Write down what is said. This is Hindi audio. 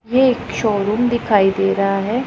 ये एक शोरूम दिखाई दे रहा है।